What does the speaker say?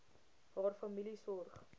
haar familie sorg